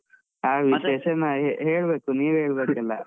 ಹೇಳ್ಬೇಕು, ನೀವೇ ಹೇಳ್ಬೇಕು ಎಲ್ಲಾ.